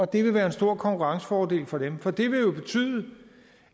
det vil være en stor konkurrencefordel for dem for det vil jo betyde